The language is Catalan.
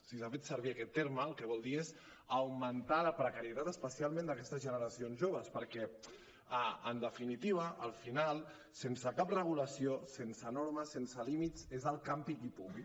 sí s’ha fet servir aquest terme el que vol dir és augmentar la precarietat especialment d’aquestes generacions joves perquè en definitiva al final sense cap regulació sense normes sense límits és el campi qui pugui